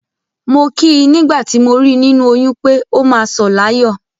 Mo kí i nígbà tí mo rí i nínú oyún pé, “ó máa sọ̀ láyọ̀”.